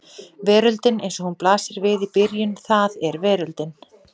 Veröldin eins og hún blasir við í byrjun það er veröldin.